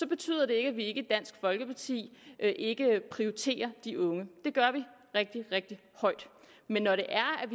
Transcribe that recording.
betyder det ikke at vi i dansk folkeparti ikke prioriterer de unge det gør vi rigtig rigtig højt men når det er at